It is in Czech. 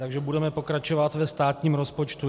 Takže budeme pokračovat ve státním rozpočtu.